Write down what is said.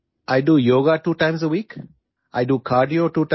সপ্তাহত দুবাৰ যোগাসন কৰো সপ্তাহত দুবাৰ কাৰ্ডিঅ কৰো